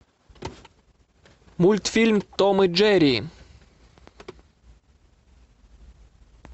мультфильм том и джерри